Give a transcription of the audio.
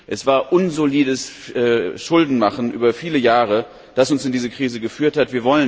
Es war unsolides Schuldenmachen über viele Jahre, das uns in diese Krise geführt hat.